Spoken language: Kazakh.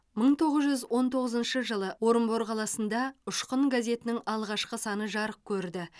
бір мың тоғыз жүз он тоғызыншы жылы орынбор қаласында ұшқын газетінің алғашқы саны жарық көрді